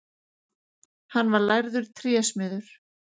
Hann var lærður trésmiður.